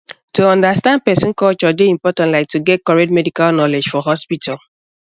to understand person culture dey important like to get correct medical knowledge for hospital